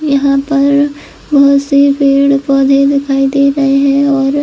यहाँ पर बहुत से पेड़-पौधे दिखाई दे रहे है और--